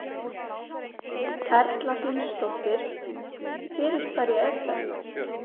Erla Hlynsdóttir: Fyrir hverja er þetta?